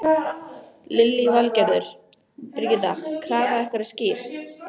Lillý Valgerður: Birgitta, krafa ykkar er skýr?